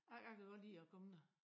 Jeg kan godt lide at komme der